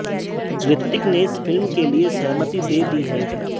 रितिक ने इस फिल्म के लिए सहमति दे दी है